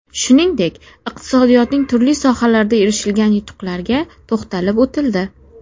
Shuningdek, iqtisodiyotning turli sohalarida erishilgan yutuqlarga to‘xtalib o‘tildi.